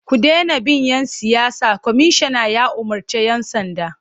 Ku dena bin ‘yan siyasa! Kwamishinan ya umarci 'yan sanda.